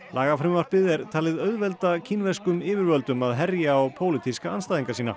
lagafrumvarpið er talið auðvelda kínverskum yfirvöldum að herja á pólitíska andstæðinga sína